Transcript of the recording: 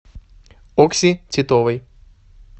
окси титовой